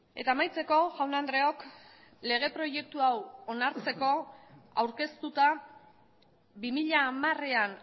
eta amaitzeko jaun andreok lege proiektu hau onartzeko aurkeztuta bi mila hamarean